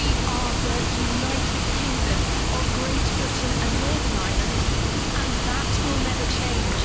We are the United Kingdom of Great Britain and Northern Ireland and that will never change.